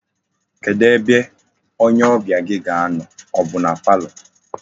Kedu ebe onye obia gi ga-ano, o bu na palọ?